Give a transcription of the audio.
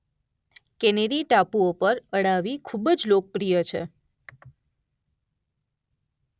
Canary ટાપુઓ પર અળાવી ખુબ લોકપ્રિય છે.